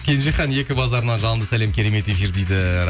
кенжехан екі базарынан жалынды сәлем керемет эфир дейді